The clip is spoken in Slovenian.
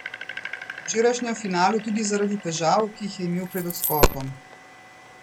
V včerajšnjem finalu tudi zaradi težav, ki jih je imel pred odskokom.